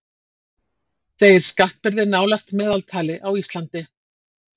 Segir skattbyrði nálægt meðaltali á Íslandi